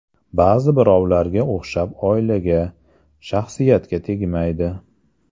Ba’zi birovlarga o‘xshab oilaga, shaxsiyatga tegmaydi.